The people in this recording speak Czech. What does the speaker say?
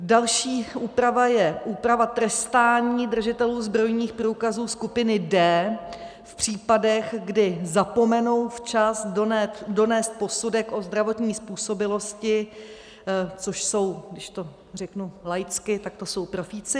Další úprava je úprava trestání držitelů zbrojních průkazů skupiny D v případech, kdy zapomenou včas donést posudek o zdravotní způsobilosti, což jsou, když to řeknu laicky, tak to jsou profíci.